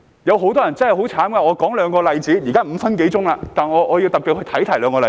有很多人真的很可憐，讓我舉兩個例子......現在已過了5分多鐘，但我要特別提出兩個例子。